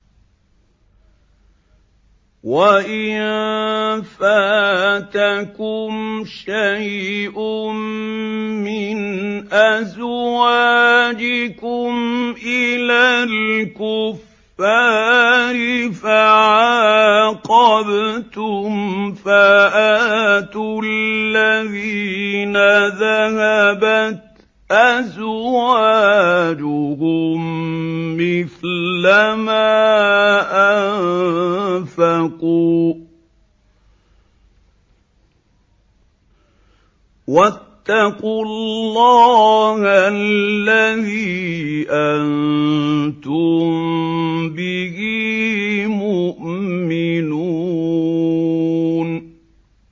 وَإِن فَاتَكُمْ شَيْءٌ مِّنْ أَزْوَاجِكُمْ إِلَى الْكُفَّارِ فَعَاقَبْتُمْ فَآتُوا الَّذِينَ ذَهَبَتْ أَزْوَاجُهُم مِّثْلَ مَا أَنفَقُوا ۚ وَاتَّقُوا اللَّهَ الَّذِي أَنتُم بِهِ مُؤْمِنُونَ